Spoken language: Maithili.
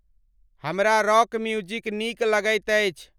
हमरा रॉक म्युजिक निक लगइत अछि ।